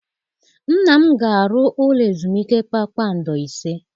Nna m ga-arụ ụlọ ezumike kpakpando ise.